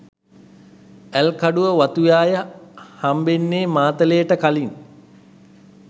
ඇල්කඩුව වතුයාය හම්බෙන්නේ මාතලේට කලින්.